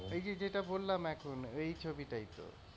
এই যে যেটা বললাম এখন এই ছবিটাই তো।